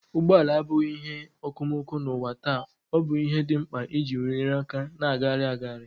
Ụgbọ ala abụghị ihe okomoko n'ụwa taa, ọ bụ ihe dị mkpa iji nyere aka na-agagharị agagharị.